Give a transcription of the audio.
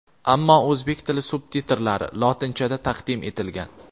ammo O‘zbek tili subtitrlari (lotinchada) taqdim etilgan.